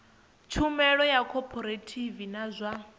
tshumelo ya khophorethivi ya zwa